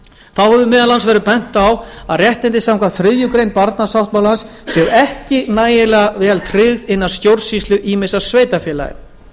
þá hefur meðal annars verið bent á að réttindi samkvæmt þriðju grein barnasáttmálans séu ekki nægilega vel tryggð innan stjórnsýslu ýmissa sveitarfélaga